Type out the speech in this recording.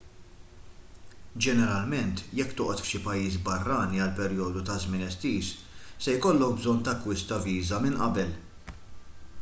ġeneralment jekk toqgħod f'xi pajjiż barrani għal perjodu ta' żmien estiż se jkollok bżonn takkwista viża minn qabel